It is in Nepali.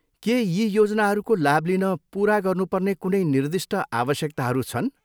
के यी योजनाहरूको लाभ लिन पुरा गर्नुपर्ने कुनै निर्दिष्ट आवश्यकताहरू छन्?